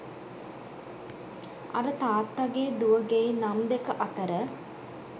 අර තාත්තාගේ දුවගෙයි නම් දෙක අතර